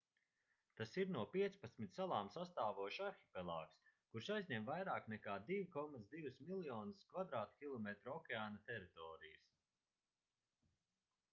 tas ir no 15 salām sastāvošs arhipelāgs kurš aizņem vairāk nekā 2,2 miljonus km2 okeāna teritorijas